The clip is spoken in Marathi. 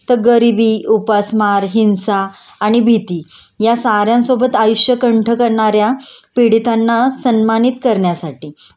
तर गरिबी, उपासमार, हिंसा आणि भीती या साऱ्यांसोबत आयुष्य कंठ करणाऱ्या पीडितांना सन्मानित करण्यासाठी